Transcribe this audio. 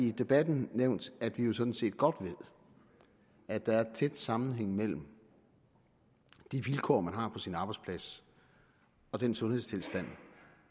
i debatten nævnt at vi sådan set godt ved at der er tæt sammenhæng mellem de vilkår man har på sin arbejdsplads og den sundhedstilstand